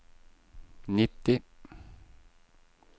nitti